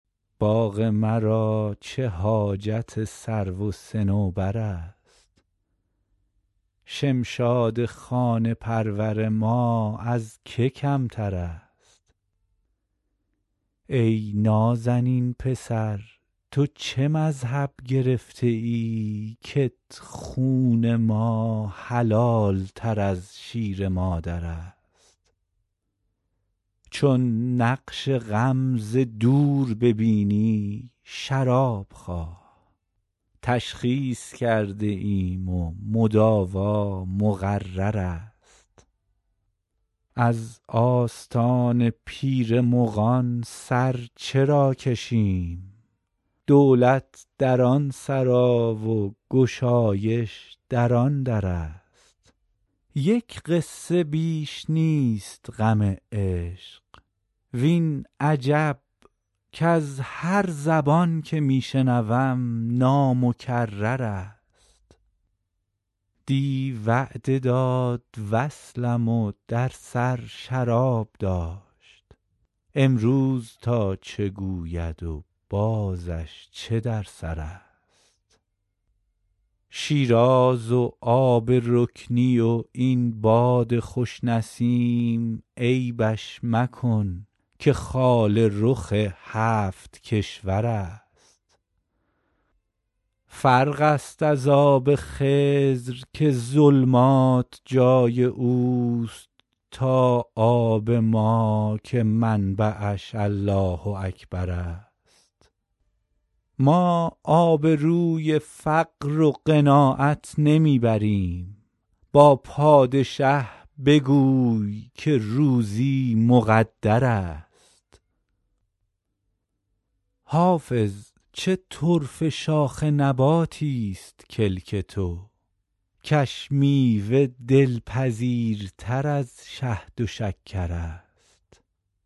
باغ مرا چه حاجت سرو و صنوبر است شمشاد خانه پرور ما از که کمتر است ای نازنین پسر تو چه مذهب گرفته ای کت خون ما حلال تر از شیر مادر است چون نقش غم ز دور ببینی شراب خواه تشخیص کرده ایم و مداوا مقرر است از آستان پیر مغان سر چرا کشیم دولت در آن سرا و گشایش در آن در است یک قصه بیش نیست غم عشق وین عجب کز هر زبان که می شنوم نامکرر است دی وعده داد وصلم و در سر شراب داشت امروز تا چه گوید و بازش چه در سر است شیراز و آب رکنی و این باد خوش نسیم عیبش مکن که خال رخ هفت کشور است فرق است از آب خضر که ظلمات جای او است تا آب ما که منبعش الله اکبر است ما آبروی فقر و قناعت نمی بریم با پادشه بگوی که روزی مقدر است حافظ چه طرفه شاخ نباتیست کلک تو کش میوه دلپذیرتر از شهد و شکر است